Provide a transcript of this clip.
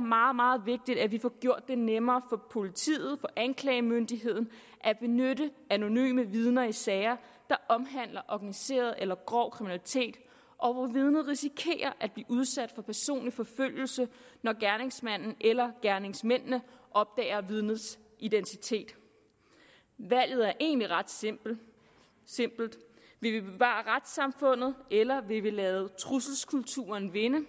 meget meget vigtigt at vi får gjort det nemmere politiet for anklagemyndigheden at benytte anonyme vidner i sager der omhandler organiseret eller grov kriminalitet og hvor vidnet risikerer at blive udsat for personlig forfølgelse når gerningsmanden eller gerningsmændene opdager vidnets identitet valget er egentlig ret simpelt vil vi bevare retssamfundet eller vil vi lade trusselskulturen vinde